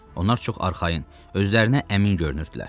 Onlar çox arxayın, özlərinə əmin görünürdülər.